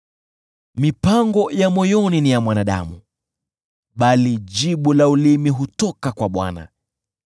Mipango ya moyoni ni ya mwanadamu, bali jibu la ulimi hutoka kwa Bwana .